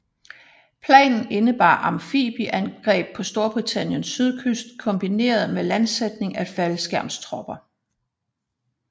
Planen indebar amfibieangreb på Storbritanniens sydkyst kombineret med landsætning af faldskærmstropper